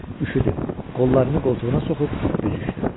Üşüdü, qollarını qoltuğuna soxub büzüşdü.